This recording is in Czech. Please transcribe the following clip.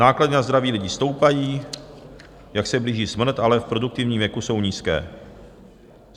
Náklady na zdraví lidí stoupají, jak se blíží smrt, ale v produktivním věku jsou nízké.